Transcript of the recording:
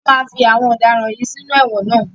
Wọ́n máa fí àwọn ọ̀daràn yìí sínú ẹ̀wọ̀n ná.